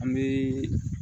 An bɛ